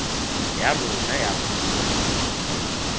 ya rona ya puo le